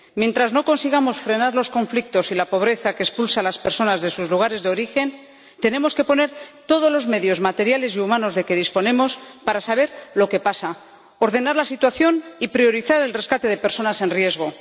Hasta que no consigamos frenar los conflictos y la pobreza que expulsan a las personas de sus lugares de origen, tenemos que poner todos los medios materiales y humanos de que disponemos para saber lo que pasa, ordenar la situación y priorizar el rescate de personas en riesgo.